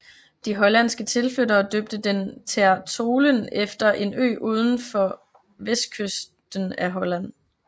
De hollandske tilflyttere døbte den Ter Tholen efter en ø ud for vestkysten af Holland